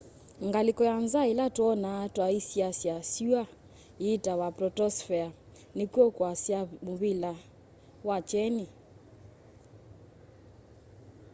ngalĩko ya nza ĩla twonaa twasyaĩsya syũa ĩĩtawa protosphere nĩkw'o kwasya mũvĩla wa kyeni